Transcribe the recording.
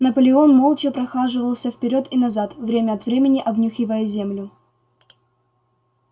наполеон молча прохаживался вперёд и назад время от времени обнюхивая землю